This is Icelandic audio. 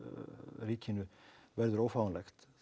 ríkinu verður ófáanlegt þá